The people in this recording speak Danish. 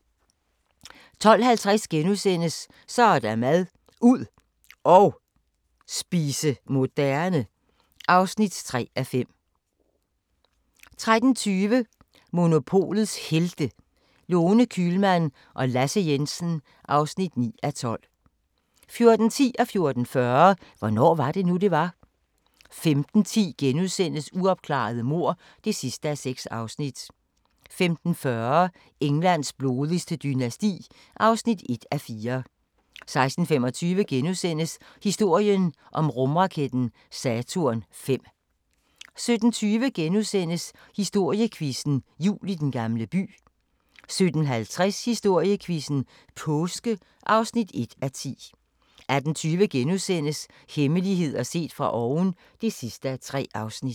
12:50: Så er der mad – ud og spise moderne (3:5)* 13:20: Monopolets Helte – Lone Kühlmann og Lasse Jensen (9:12) 14:10: Hvornår var det nu, det var? * 14:40: Hvornår var det nu, det var? 15:10: Uopklarede mord (6:6)* 15:40: Englands blodigste dynasti (1:4) 16:25: Historien om rumraketten Saturn V * 17:20: Historiequizzen: Jul i Den Gamle By * 17:50: Historiequizzen: Påske (1:10) 18:20: Hemmeligheder set fra oven (3:3)*